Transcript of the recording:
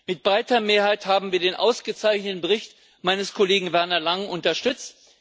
Mit breiter Mehrheit haben wir den ausgezeichneten Bericht meines Kollegen Werner Langen unterstützt.